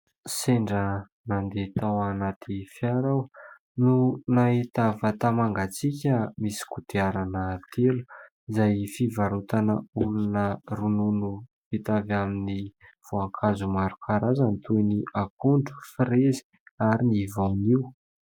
Sendra nandeha tao anaty fiara aho no nahita vata fampangatsiahana misy kodiarana telo, izay fivarotan'olona ronono vita avy amin'ny voankazo maro karazany : toy ny akondro, frezy, ary ny voanio.